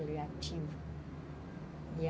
Ele ativa.